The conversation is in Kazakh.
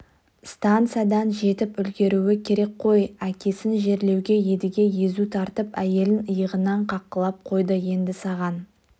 станциядан жетіп үлгеруі керек қой әкесін жерлеуге едіге езу тартып әйелін иығынан қаққылап қойды енді саған